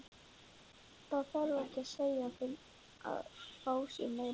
Það þarf ekki að segja þeim að fá sér meira.